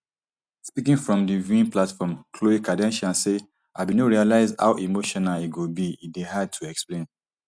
speaking from di viewing platform khlo kardashian say i bin no realise how emotional e go be e dey hard to explain